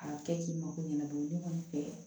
A kɛ k'i mako ɲɛna don min kɔni fɛ